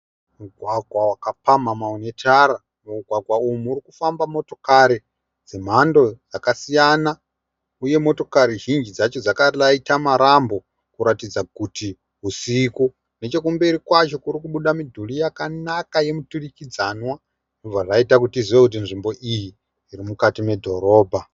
Mugwagwa wakapamhamha une tara mumugwagwa umu mukufamba motokari dzemhando dzakasiyana uye motokari zhinji dzacho dzakaraita marambo kuratidza kuti husiku. Nechekumberi kwacho kuri kubuda midhuri yakanaka yemuturikidzanwa zvobva zvaita kuti tizive kuti nzvimbo iyi iri mukati medhorobha.